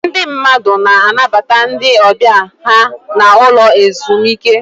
Ndị mmadụ na-anabata ndị ọbịa ha n'ụlọ ezumike.